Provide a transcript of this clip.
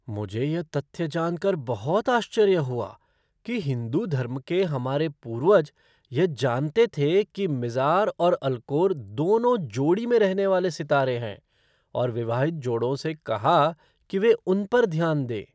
मुझे यह तथ्य जानकर बहुत आश्चर्य हुआ कि हिंदू धर्म के हमारे पूर्वज यह जानते थे कि मिज़ार और अल्कोर दोनों जोड़ी में रहने वाले सितारे हैं और विवाहित जोड़ों से कहा कि वे उन पर ध्यान दें।